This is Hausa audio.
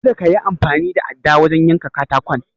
Kada kayi amfani da adda wajen yanka katakon.